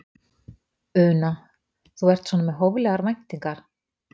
Una: Þú ert svona með hóflegar væntingar?